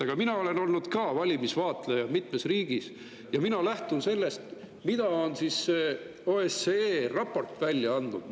Aga mina olen olnud ka valimiste vaatleja mitmes riigis ja mina lähtun sellest, mida on OSCE raportis välja.